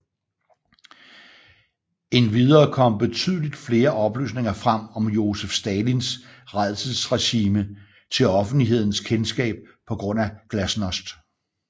Endvidere kom betydeligt flere oplysninger frem om Josef Stalins rædselsregime til offentlighedens kendskab på grund af glasnost